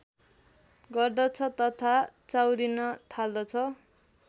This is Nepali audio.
गर्दछ तथा चाउरिन थाल्दछ